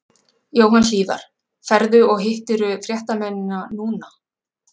Jóhann Hlíðar: Ferðu og, hittirðu fréttamennina núna?